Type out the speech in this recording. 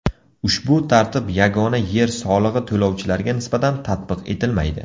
Ushbu tartib yagona yer solig‘i to‘lovchilariga nisbatan tatbiq etilmaydi.